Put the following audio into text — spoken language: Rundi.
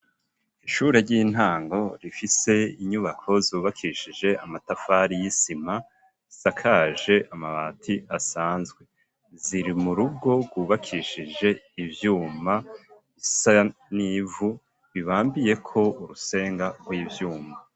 Ishure ry'intango rifise inyubako zubakishije amatafari y'isima ,zisakaje amabati asanzwe, ziri mu rugo gwubakishije ivyuma isa n'ivu bibambiyeko urusenga rw'ivyuma.